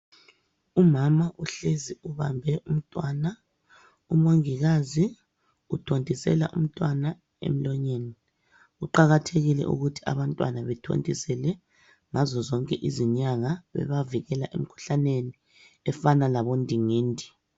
Umama uhlezi ubambe umntwana umongikazi uthontisela umntwana emlonyeni kuqakathekile ukuthi abantwana bethontisele ngazo zonke izinyanga bebavikela emkhuhlaneni efanana labodingidi.